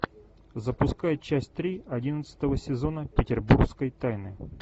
запускай часть три одиннадцатого сезона петербургской тайны